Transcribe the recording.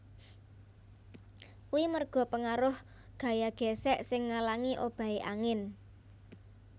Kuwi merga pengaruh gaya gésék sing ngalangi obahe angin